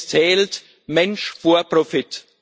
Es zählt Mensch vor Profit.